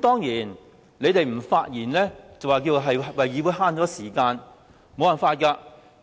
當然，議員不發言便說是為了節省議會時間，但